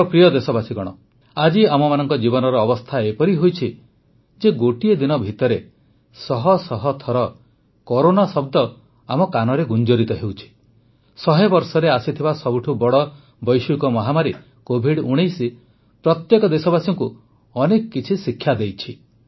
ମୋର ପ୍ରିୟ ଦେଶବାସୀଗଣ ଆଜି ଆମମାନଙ୍କ ଜୀବନର ଅବସ୍ଥା ଏପରି ହୋଇଛି ଯେ ଗୋଟିଏ ଦିନ ଭିତରେ ଶହଶହ ଥର କରୋନା ଶବ୍ଦ ଆମ କାନରେ ଗୁଞ୍ଜରିତ ହେଉଛି ଶହେ ବର୍ଷରେ ଆସିଥିବା ସବୁଠୁ ବଡ଼ ବୈଶ୍ୱିକ ମହାମାରୀ କୋଭିଡ୧୯ ପ୍ରତ୍ୟେକ ଦେଶବାସୀଙ୍କୁ ଅନେକ କିଛି ଶିକ୍ଷା ଦେଇଛି